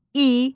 İ.